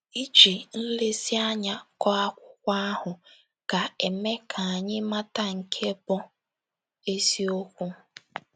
Iji nlezianya gụọ akụkọ ahụ ga - eme ka anyị mata nke bụ́ eziokwu.